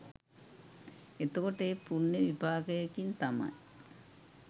එතකොට ඒ පුණ්‍ය විපාකයකින් තමයි